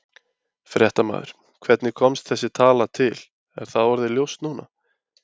Fréttamaður: Hvernig kom þessi tala til, er það orðið ljóst núna?